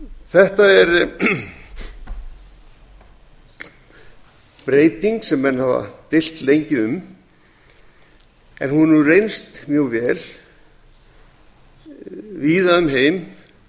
þetta er breyting sem menn hafa deilt lengi um en hún hefur reynst mjög vel víða um heim